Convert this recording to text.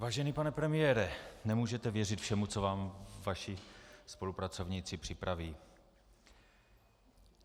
Vážený pane premiére, nemůžete věřit všemu, co vám vaši spolupracovníci připraví.